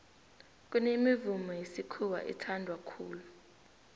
kunemivumo yesikhuwa ethanwa khulu